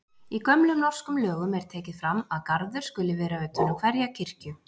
Í gömlum norskum lögum er tekið fram að garður skuli vera utan um hverja kirkju.